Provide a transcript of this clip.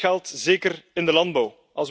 Dat geldt zeker in de landbouw.